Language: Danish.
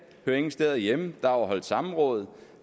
hører ingen steder hjemme der har været holdt samråd